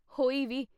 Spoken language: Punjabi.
ਹੋਈ ਵੀ !